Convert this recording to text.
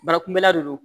Barakunbɛla de don